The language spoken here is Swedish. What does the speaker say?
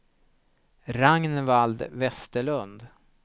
Ragnvald Westerlund